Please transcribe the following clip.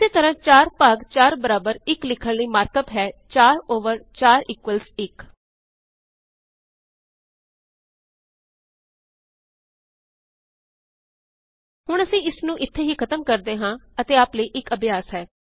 ਇਸੇ ਤਰਾਂ 4 ਭਾਗ 4 ਬਰਾਬਰ 1 ਲਿਖਣ ਲਈ ਮਾਰਕ ਅਪ ਹੈ 4 ਓਵਰ 4 ਇਕੁਅਲਜ਼ 1 ਹੁਣ ਅਸੀਂ ਇਸਨੂੰ ਇੱਥੇ ਹੀ ਖਤਮ ਕਰਦੇ ਹਾਂ ਅਤੇ ਆਪ ਦੇ ਲਈ ਇਕ ਅਭਿਆਸ ਹੈ